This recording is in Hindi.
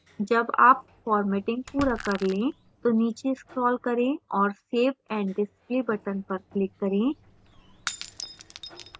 जब आप formatting पूरा कर when तो नीचे scroll करें और save and display button पर click करें